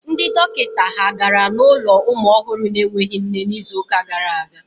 Ndị dọkịta ha gara n'ụlọ ụmụ ọhụrụ na-enweghị nne n'izu gara aga?